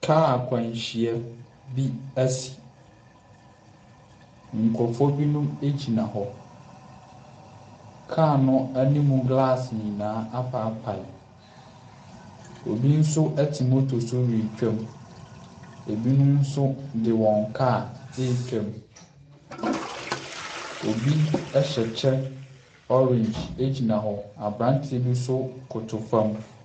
Kaa akwanhyia bi asi. Nkurɔfoɔ binom gyina hɔ. Car no animu glass nyinaa apaapae. Obi nso te motor so retwam. Ɛbinom nso de wan kaa retwa mu. Obi hyɛ kyɛ orange gyina hɔ. Aberanteɛ bi nso koto fam.